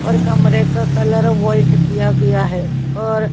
और कमरे का कलर वाइट किया गया है और--